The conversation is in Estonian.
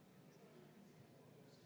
Ettepanek leidis toetust.